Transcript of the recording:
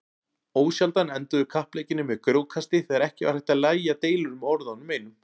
Ósjaldan enduðu kappleikirnir með grjótkasti þegar ekki var hægt að lægja deilur með orðunum einum.